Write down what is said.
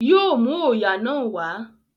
Yóò mú òòyà náà wá